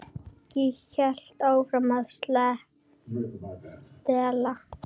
Ég hélt áfram að stela.